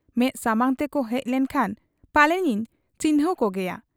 ᱢᱮᱫ ᱥᱟᱢᱟᱝ ᱛᱮᱠᱚ ᱦᱮᱡ ᱞᱮᱱ ᱠᱷᱟᱱ ᱯᱟᱞᱮᱱᱤᱧ ᱪᱤᱱᱦᱟᱹᱣ ᱠᱚᱜᱮᱭᱟ ᱾